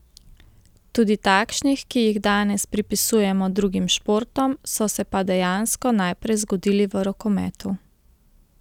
Tudi takšnih, ki jih danes pripisujemo drugim športom, so se pa dejansko najprej zgodili v rokometu.